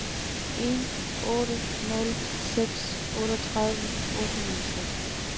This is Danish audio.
en otte nul seks otteogtredive otte hundrede og seks